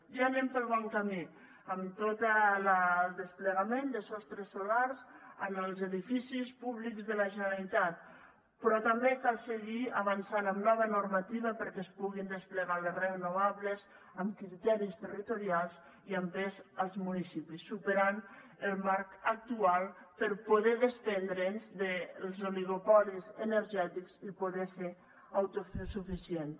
ja anem pel bon camí amb tot el desplegament de sostres solars en els edificis públics de la generalitat però també cal seguir avançant amb nova normativa perquè es puguin desplegar les renovables amb criteris territorials i amb pes als municipis i superar el marc actual per a poder desprendre’ns dels oligopolis energètics i poder ser autosuficients